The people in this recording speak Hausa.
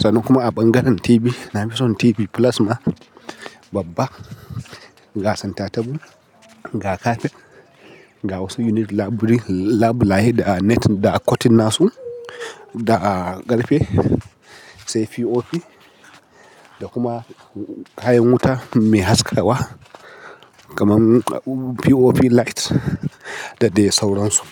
Sannan kuma a ɓangaren TV, na fi son TV plasma babba, ga center table, ga kafet, ga wasu unique labulai da net da cotton nasu da karfe, sai POP da kuma kayan wuta mai haskawa. Kaman POP light da dai sauransu.